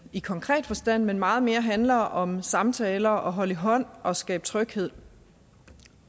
i konkret forstand men meget mere handler om samtaler holde i hånd og skabe tryghed